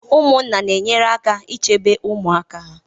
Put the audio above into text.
Ụmụnna na-enyere aka ichebe ụmụaka ha